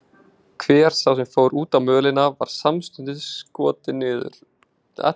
Hver sá sem fór út á mölina var samstundis skotinn niður.